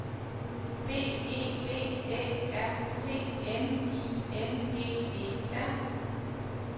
B E V Æ R T N I N G E R